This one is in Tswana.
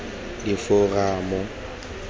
diforamo